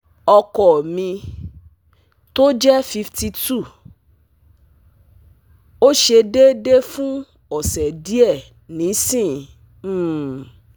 Oko mi to je fifty two o se deede fun ose die nisin um